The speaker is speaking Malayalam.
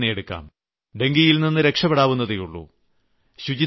ഡെങ്കിപ്പനിതന്നെയെടുക്കാം ഡെങ്കിയിൽനിന്ന് രക്ഷപ്പെടാവുന്നതേയുള്ളൂ